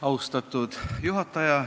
Austatud juhataja!